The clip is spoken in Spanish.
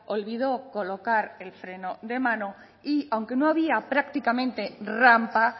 olvidó colocar el freno de mano y aunque no había prácticamente rampa